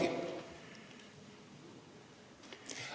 Ei olegi.